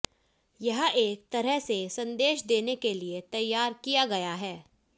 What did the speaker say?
यह एक तरह से संदेश देने के लिए तैयार किया गया है